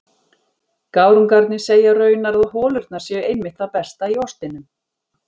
Gárungarnir segja raunar að holurnar séu einmitt það besta í ostinum.